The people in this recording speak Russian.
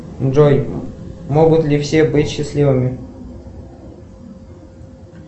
джой могут ли все быть счастливыми